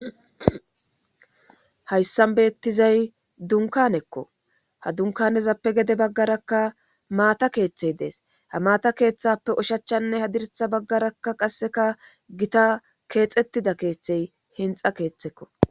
Hayssan beettizay dunkanekko ha dunkanezappe gede baggarakka maata keeththey dees ha maata keeththappe ushachanne hadiritha baggarakka qasseka gita keexettida keeththey hinxa keeththekko.